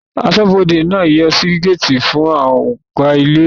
Aṣọ́bọdè náà yóò ṣí géètì fún Ọ̀gá ilé ìwé